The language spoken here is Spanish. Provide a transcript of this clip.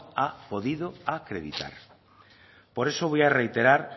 ha podido acreditar por eso voy a reiterar